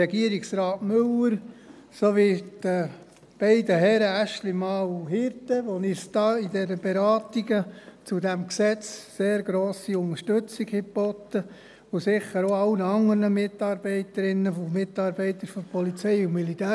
Regierungsrat Müller sowie den beiden Herren Aeschlimann und Hirte, die uns bei den Beratungen dieses Gesetzes sehr grosse Unterstützung geboten haben, und sicher auch allen anderen Mitarbeiterinnen und Mitarbeitern der POM.